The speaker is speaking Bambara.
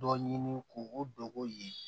Dɔ ɲini k'o o dogo ye